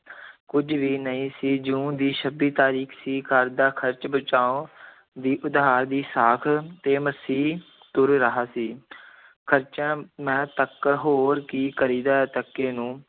ਕੁੱਝ ਵੀ ਨਹੀਂ ਸੀ, ਜੂਨ ਦੀ ਛੱਬੀ ਤਾਰੀਖ਼ ਸੀ, ਘਰ ਦਾ ਖ਼ਰਚ ਬਚਾਓ ਦੀ ਉਧਾਰ ਦੀ ਸਾਖ ਤੇ ਮਸੀਂ ਤੁਰ ਰਿਹਾ ਸੀ ਖਰਚਾ ਮੈਂ ਤੱਕ ਹੋਰ ਕੀ ਕਰੀਦਾ ਤੱਕੇ ਨੂੰ